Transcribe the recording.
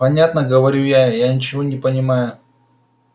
понятно говорю я я ничего не понимая